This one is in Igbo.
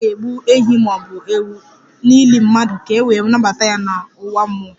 A na-egbu ehi ma ọ bụ ewu n'ili mmadụ ka e wee nabata ya n'ụwa mmụọ